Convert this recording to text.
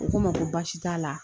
U ko n ma ko baasi t'a la